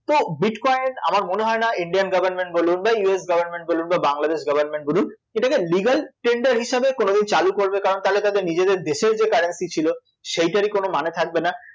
তো bitcoin আমার মনে হয় না Indian government বলুন বা ইউএস Government বলুন বা বাংলাদেশ government বলুন এটাকে legal tender হিসেবে কোনোদিন চালু করবে কারণ তাহলে তাদের নিজেদের দেশের যে currency ছিল সেটারই কোনো মানে থাকবে না